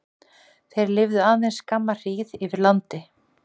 Þeir lifa aðeins skamma hríð yfir landi.